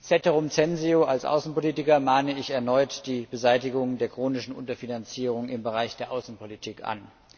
Ceterum censeo Als Außenpolitiker mahne ich erneut die Beseitigung der chronischen Unterfinanzierung im Bereich der Außenpolitik an.